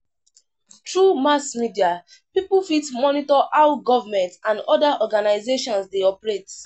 Through mass media pipo fit monitor how government and other organizations de operate